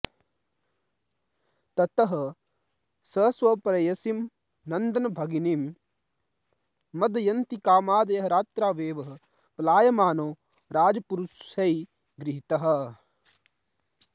ततः स स्वप्रेयसीं नन्दनभगिनीं मदयन्तिकामादाय रात्रावेव पलायमानो राजपुरुषैगृहीतः